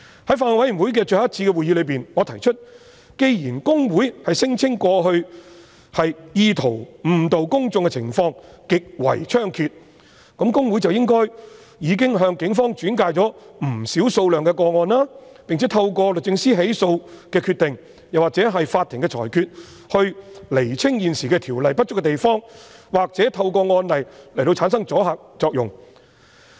在法案委員會最後一次的會議上，我提出既然公會聲稱過去意圖誤導公眾的情況極為猖獗，那麼公會理應向警方轉介不少個案，並且透過律政司作出起訴的決定或取得法庭的裁決，以釐清現時《條例》不足的地方，或透過案例來產生阻嚇作用。